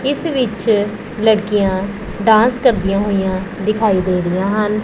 ਇੱਸ ਵਿੱਚ ਲੜਕੀਆਂ ਡਾਂਸ ਕਰ ਦਿਆਂ ਹੋਈਆਂ ਦਿਖਾਈ ਦੇ ਰਾਹੀਆਂ ਹਨ।